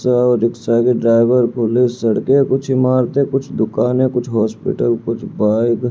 रिक्सा रिक्सा के driver police सड़कें कुछ इमारतें कुछ दुकानें कुछ हॉस्पिटल कुछ बाइक --